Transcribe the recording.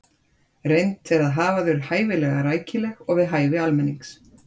reynt er að hafa þau hæfilega rækileg og við hæfi almennings